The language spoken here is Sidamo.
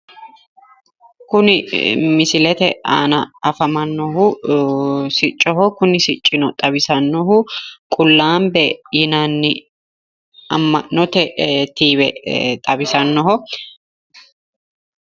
Kuni misilete aana afamannohu siccoho kuni siccino xawisannohu qullaambe yinanni amma'note tiive xawisannoho.